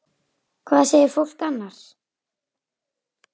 Hvað segir fólk annars?